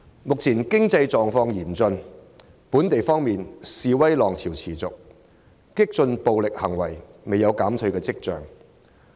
目前經濟狀況嚴峻，本地方面，示威浪潮持續，激進暴力行為未見減退跡象。